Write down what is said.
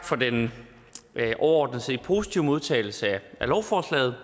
for den overordnet set positive modtagelse af lovforslaget